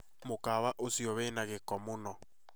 Mukawa ucĩo wĩna giko mũno